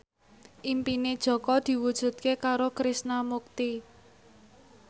impine Jaka diwujudke karo Krishna Mukti